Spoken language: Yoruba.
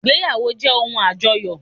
Ìgbéyàwó jẹ́ ohun àjọyọ̀